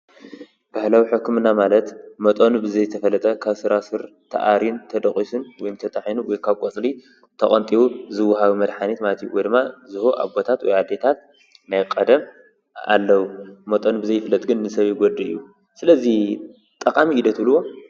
ባህላዊ ሕክምና ማለት መጠኑ ብዘይ ተፈለጠ ካብ ስራስር ተኣሪን ተደቂሱን ወይ ተጣሒኑ ወይ ካብ ቆፅሊ ተቐንጢቡ ዝወሃብ መድሓኒት ማለት እዩ ።ወይ ድማ ዝህቦ ኣቦታት ወይ ኣዴታት ናይ ቀደም ኣለው መጠኑ ብዘይ ፍለጥ ግን ንሰብ ይጎድእ እዩ። ስለዚ ጠቓሚ እዩ ዶ ትብሉዎ?